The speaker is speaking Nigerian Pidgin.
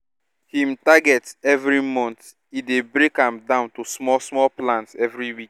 him targets every month e dey break am down to small small plans every week